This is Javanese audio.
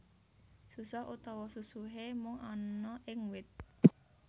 Susoh utawa susuhé mung ana ing wit